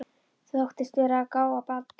Þóttist vera að gá að Badda.